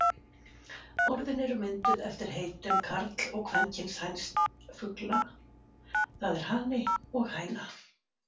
Orðin eru mynduð eftir heitum karl- og kvenkyns hænsfugla, það er hani og hæna.